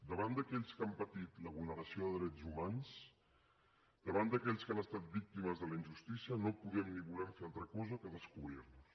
davant d’aquells que han patit la vulneració de drets humans davant d’aquells que han estat víctimes de la injustícia no podem ni volem fer altra cosa que descobrir nos